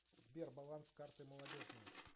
сбер баланс карты молодежная